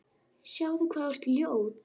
Sjáðu hvað þú ert ljót.